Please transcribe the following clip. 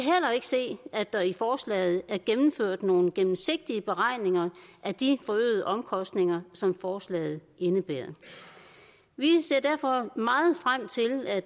se at der i forslaget er gennemført nogle gennemsigtige beregninger af de forøgede omkostninger som forslaget indebærer vi ser derfor meget frem til at